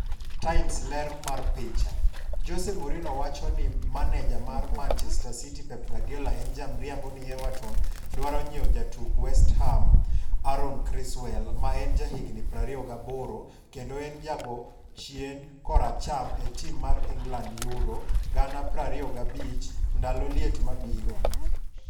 (Times) Ler mar picha, Jose Mourinhowacho ni Manejamar Manchester City Pep Guardiola en ja mriambo ni Everton dwaro nyiew jatugk West Ham Aaron Cresswell, ma en ja higni 28 kendo en ejago chien koracham e tim mar England Euro gana 25 ndalo liet mabiro